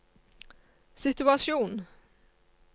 situasjon